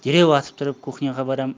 дереу атып тұрып кухняға барамын